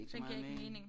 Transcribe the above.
Den giver ikke mening